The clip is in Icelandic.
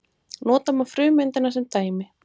Nota má frumeindina sem dæmi.